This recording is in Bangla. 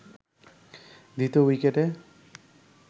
দ্বিতীয় উইকেটে